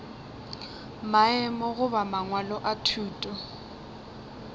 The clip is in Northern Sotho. maemo goba mangwalo a thuto